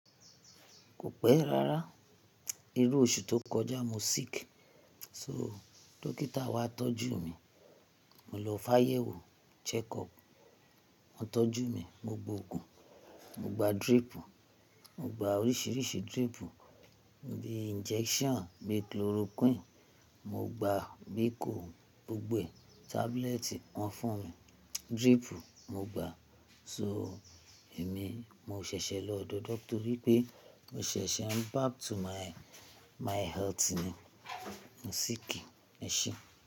Kò pẹ́ rárá. Irú oṣù tó kọjá mo sick, so dókítà wá tọ́jú mi. Mo lọ fáyẹ̀wò, (check up), wọ́n tọ́jú mi, mo gbo òògùn, mo gba drip, mo gba oríṣiríṣi drip bíi abẹ́rẹ́ bíi chloroquine, mo gba biko gbogbo tablet wọ́n fún mi, drip mo gba. So èmi mo ṣẹ̀ṣẹ̀ lọ dodo torí pé mo ṣẹ̀ṣẹ̀ ń back to my, my health ni. Mo sick, ẹ ṣé.